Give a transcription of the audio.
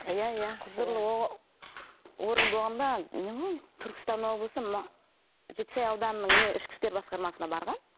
иә иә құзырлы орган болғанда не ғой түркістан облысы жетісай ауданының ішкі істер басқармасына барған